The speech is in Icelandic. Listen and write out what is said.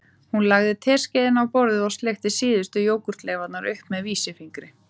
Hún lagði teskeiðina á borðið og sleikti síðustu jógúrtleifarnar upp með vísifingri